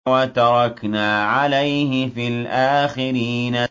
وَتَرَكْنَا عَلَيْهِ فِي الْآخِرِينَ